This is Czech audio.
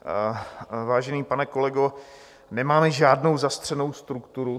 Vážený pane kolego, nemáme žádnou zastřenou strukturu.